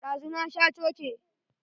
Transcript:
Ɗazu na sha coke.